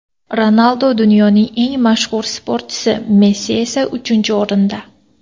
Ronaldu dunyoning eng mashhur sportchisi, Messi esa uchinchi o‘rinda.